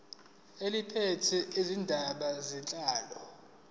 eliphethe izindaba zenhlalo